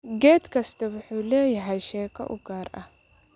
Geed kastaa wuxuu leeyahay sheeko u gaar ah.